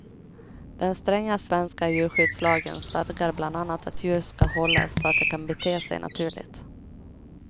Den stränga svenska djurskyddslagen stadgar bland annat att djur ska hållas så att de kan bete sig naturligt.